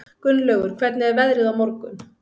Gunnlaugur, hvernig er veðrið á morgun?